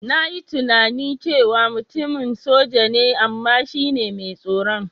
Na yi tunani cewa mutumin soja ne, amma shi ne mai tsoron.